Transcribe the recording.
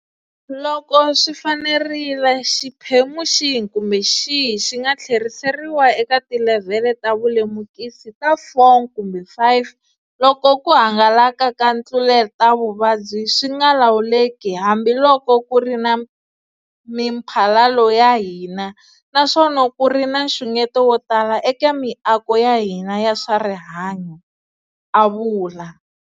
Loko swi fanerile, xiphemu xihi kumbe xihi xi nga tlheriseriwa eka tilevhele ta vulemukisi ta 4 kumbe 5 loko ku hangalaka ka ntluletavuvabyi swi nga lawuleki hambiloko ku ri na miphalalo ya hina naswona ku ri na nxungeto wo tala eka miako ya hina ya swa rihanyu, a vula.